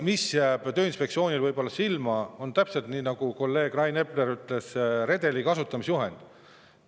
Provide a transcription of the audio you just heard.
Mis võib Tööinspektsioonile silma jääda, on täpselt see, mida kolleeg Rain Epler ütles: redeli kasutamise juhend.